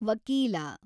ವಕೀಲ